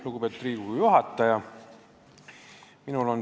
Lugupeetud Riigikogu juhataja!